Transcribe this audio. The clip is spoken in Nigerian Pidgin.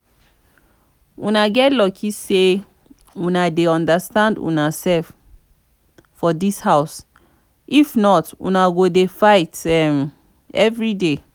una get luck say una dey understand una self for for dis house if not una go dey fight um everyday